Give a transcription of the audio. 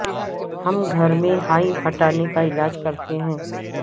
ہم گھر میں ہائی ہٹانے کا علاج کرتے ہیں